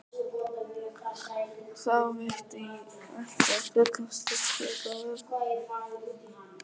Þá veitti ekki af fullum styrk í öllum vöðvum.